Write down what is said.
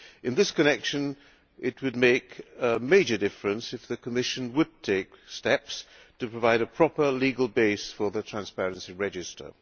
In this connection it would make a major difference if the Commission were to take steps to provide a proper legal base for the transparency register.